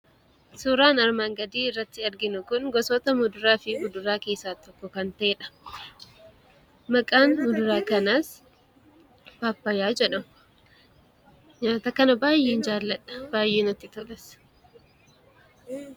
Suuraan armaan gadii irratti arginu kun gosoota muduraa fi kuduraa keessaa tokko kan ta'eedha. Maqaan muduraa kanaas paappayyaa jedhama. Nyaata kana baay'een jaalladha; baay'ee natti tolas.